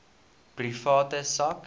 private sak